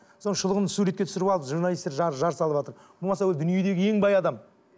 соның шұлығын суретке түсіріп алып журналистер жар жар салыватыр болмаса ол дүниедегі ең бай адам иә